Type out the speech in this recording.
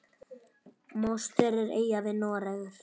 Mostur er eyja við Noreg.